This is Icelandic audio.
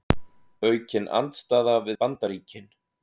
Aukin andstaða við Bandaríkin